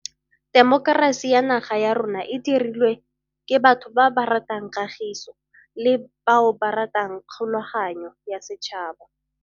Temokerasi ya naga ya rona e dirilwe ke batho ba ba ratang kagiso le bao ba ratang kgo laganyo ya setšhaba.